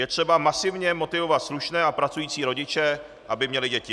Je třeba masivně motivovat slušné a pracující rodiče, aby měli děti.